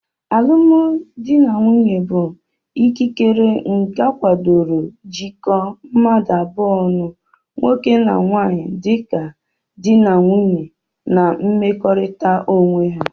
Alụmdi na nwunye bu ikikere nke akwadoro jikọ mmdu abụọ ọnụ( nwoke na nwanyi) dika di na nwunye n'mmekọrita onweha